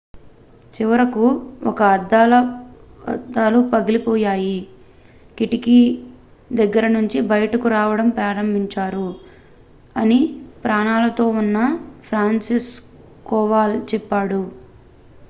"""చివరకు ఒక అద్దాలు పగిలిపోయాయి కిటికీ దగ్గర నుంచి బయటకు రావడం ప్రారంభించారు""" అని ప్రాణాలతో ఉన్న ఫ్రాన్సిస్జెక్ కోవాల్ చెప్పాడు.""